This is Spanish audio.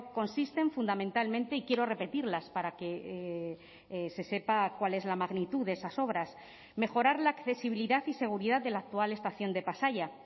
consisten fundamentalmente y quiero repetirlas para que se sepa cuál es la magnitud de esas obras mejorar la accesibilidad y seguridad de la actual estación de pasaia